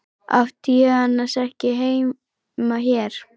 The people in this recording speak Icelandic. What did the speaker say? Átti ég annars ekki heima hér?